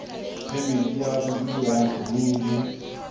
phemiti ya bodulo ya saruri